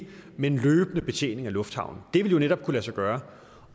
men løbende betjening af lufthavnen det ville jo netop kunne lade sig gøre